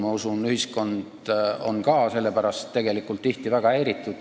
Ma usun, et ühiskond on ka selle teema pärast tegelikult tihti väga häiritud.